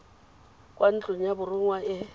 kwa ntlong ya borongwa e